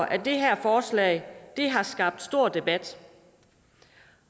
at det her forslag har skabt stor debat